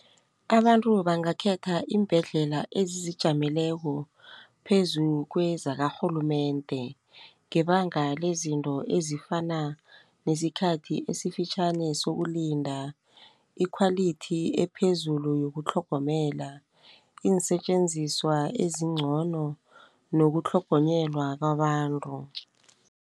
Abantu bangakhetha iimbhedlela ezizijameleko phezu kwezakarhulumende, ngebanga lezinto ezifana nesikhathi esifitjhani sokulinda, ikhwalithi ephezulu yokutlhogomela, iinsetjenziswa ezincono, nokutlhogonyelwa kwabantu.